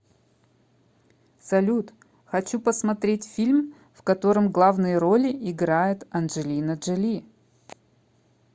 салют хочу посмотреть фильм в котором главные роли играет анжелина джоли